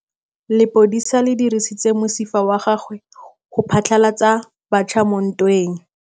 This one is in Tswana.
Lepodisa le dirisitse mosifa wa gagwe go phatlalatsa batšha mo ntweng.